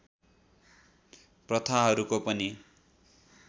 प्रथाहरूको पनि